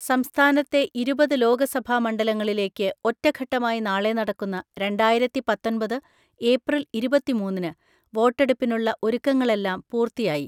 സംസ്ഥാനത്തെ ഇരുപത് ലോകസഭാമണ്ഡലങ്ങളിലേക്ക് ഒറ്റഘട്ടമായി നാളെ നടക്കുന്ന രണ്ടായിരത്തിപത്തൊൻപത് ഏപ്രിൽ ഇരുപതിമൂന്നിന് വോട്ടെടുപ്പിനുള്ള ഒരുക്കങ്ങളെല്ലാം പൂർത്തിയായി.